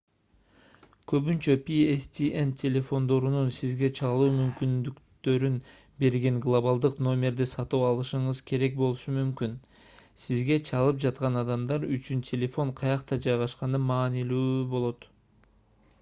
көбүнчө pstn телефондорунун сизге чалуу мүмкүндүктөрүн берген глобалдык номерди сатып алышыңыз керек болушу мүмкүн сизге чалып жаткан адамдар үчүн телефон каякта жайгашканы маанилүү болот